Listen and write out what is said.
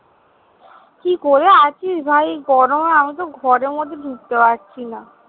কি করে আছিস ভাই এই গরমে? আমি তো ঘরের মধ্যে ঢুকতে পারছি না।